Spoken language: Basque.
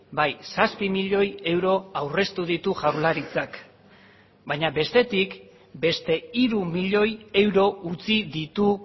bai zazpi milioi euro aurreztu ditu jaurlaritzak baina bestetik beste hiru milioi euro utzi ditu